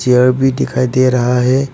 Chair भी दिखाई दे रहा है।